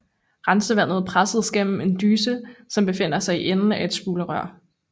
Rensevandet presses gennem en dyse som befinder sig i enden af et spulerør